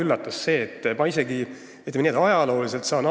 Ma saan sellest isegi ajalooliselt aru.